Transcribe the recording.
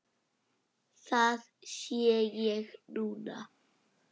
Það sé ég núna.